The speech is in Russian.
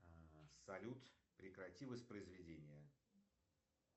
салют прекрати воспроизведение